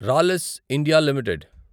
రాలిస్ India limited